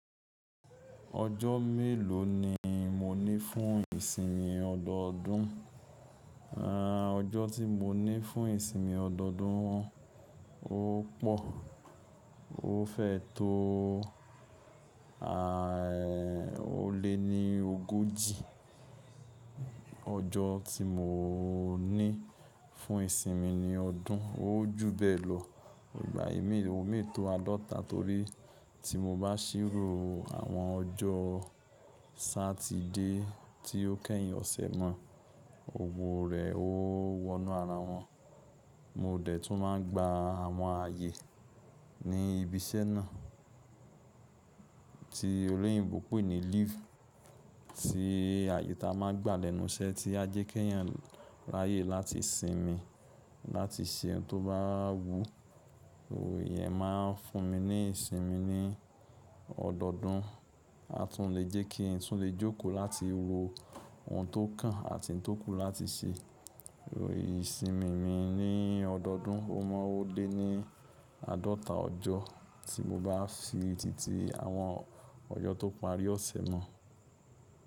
Ọjọ́ mélòó ni mo ní fún ìsinmi ọdọọdún? Ọ́jọ́ tí mo ní fún ìsinmi ọdọọdún, ó pọ̀. Ó fẹ́ tó o, o lé ní ogójì. Ọjọ́ tí mo ní fún ìsinmi ní ọdún, ó jù bẹ́ẹ̀ lọ. Ìgbà mìí o lè tó àádọ́ta torí tí mo bá ṣírò àwọn ọjọ́ Satide tí ó kẹ́yìn ọ̀sẹ̀ mọ́, gbogbo rẹ̀ ó wọnú ara wọn. Mo dẹ̀ tún máa ń gba àwọn ààyè ní ibi iṣẹ́ náà tí olóyìnbo pè ní leave tí àyè ta a máa ń gbà lẹ́nu iṣẹ́ tí a jẹ́ kẹ́yàn ráyè láti sinmi, láti ṣe ohun tó bá wù. Ìyẹn máa ń fún mi ní ìsinmi ní ọdọọdún, a tún lè jẹ́ kí n tún lè jókòó láti wo ohun tó kàn a ti ń tókù láti ṣe. Ìsinmi mi ní ọdọọdún, o mọ́ ó dé ní àádọ́ta ọjọ́ tí mo bá si tìtì àwọn ọjọ́ tó parí ọ̀sẹ̀ mọ́.